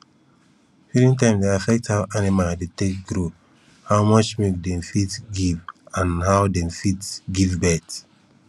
feeding time dey affect how animal dey take grow how much milk dem fit give and how dem fit give birth